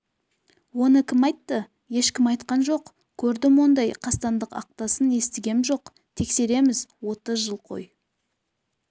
оны кім айтты ешкім айтқан жоқ көрдім ондай қасқандық актасын естігенім жоқ тексереміз отыз жыл қой